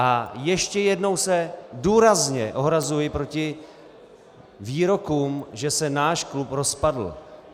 A ještě jednou se důrazně ohrazuji proti výrokům, že se náš klub rozpadl.